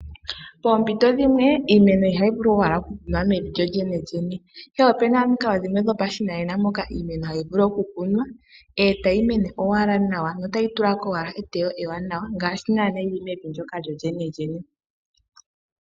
Poompito dhimwe iimeno ihayi vulu owala ku kunwa mevi lyolyene lyene ihe opuna omikalo dhimwe dhopashinanena moka iimeno hayi vulu oku kunwa etayi mene owala nawa notayi tulako owala eteyo li li nawa ngaashi naanaa yili mevi lyolyene lyene.